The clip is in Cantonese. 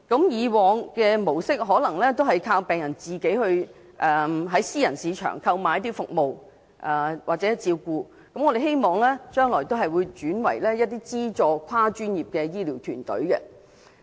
以往的模式是依靠病人自行在私人市場購買服務或照顧，我們希望將來會轉為提供資助的跨專業醫療團隊。